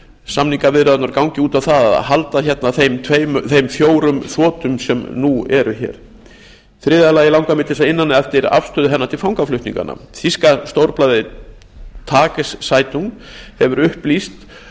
samningaviðræðurnar gangi út á það að halda hérna þeim fjórum þotum sem nú eru hér í þriðja lagi langar mig til þess að inna hana eftir afstöðu hennar til fangaflutninganna þýska stórblaðið tageszeitung hefur upplýst